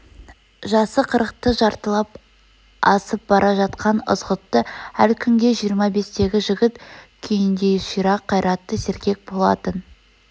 жасы қырықты жартылап асып бара жатқан ызғұтты әл күнге жиырма бестегі жігіт күйндей ширақ қайратты сергек болатын